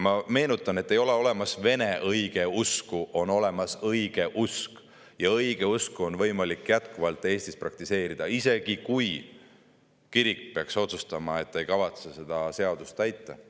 Ma meenutan, et ei ole olemas vene õigeusku, on olemas õigeusk ja õigeusku on Eestis võimalik jätkuvalt praktiseerida, isegi kui kirik peaks otsustama, et ta ei kavatse seda seadust täita.